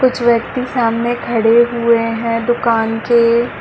कुछ व्यक्ति सामने खड़े हुए है दुकान के--